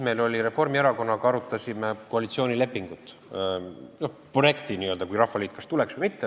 Me arutasime Reformierakonnaga koalitsioonilepingut, selle n-ö projekti, kui Rahvaliit kas tuleks või mitte.